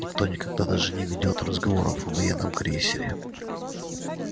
никто никогда даже не ведёт разговоров о военном крейсере